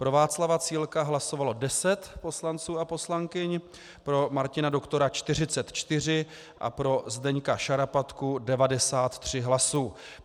Pro Václava Cílka hlasovalo 10 poslanců a poslankyň, pro Martina Doktora 44 a pro Zdeňka Šarapatku 93 hlasů.